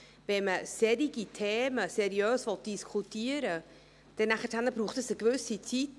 Wenn man solche Themen seriös diskutieren will, braucht es eine gewisse Zeit.